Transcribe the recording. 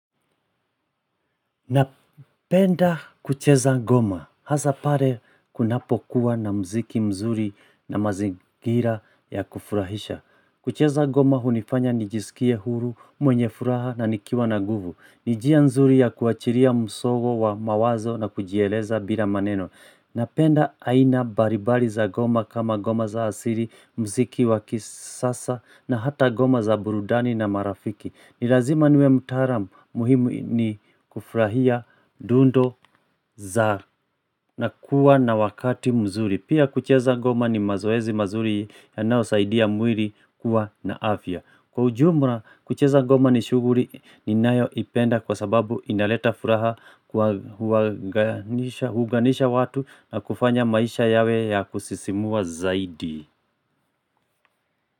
Napenda kucheza ngoma, hasa pale kunapokuwa na muziki mzuri na mazingira ya kufurahisha kucheza ngoma hunifanya nijisikie huru, mwenye furaha na nikiwa na nguvu ni njia nzuri ya kuachilia msongo wa mawazo na kujieleza bila maneno Napenda aina mbalimbali za ngoma kama ngoma za asili, muziki wa kisasa na hata ngoma za burudani na marafiki ni lazima niwe mtaalam muhimu ni kufurahia dundo za na kuwa na wakati mzuri. Pia kucheza ngoma ni mazoezi mazuri yanayosaidia mwili kuwa na afya. Kwa ujumla kucheza ngoma ni shughuli ninayoipenda kwa sababu inaleta furaha kwa kuunganisha watu na kufanya maisha yawe ya kusisimua zaidi.